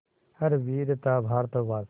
हर वीर था भारतवासी